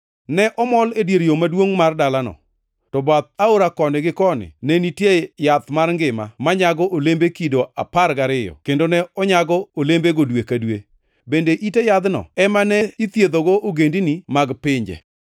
ne omol e dier yo maduongʼ mar dalano. To bath aora koni gi koni ne nitie yath mar ngima manyago olembe kido apar gariyo kendo ne onyago olembegego dwe ka dwe, bende ite yadhno ema ithiedhogo ogendini mag pinje.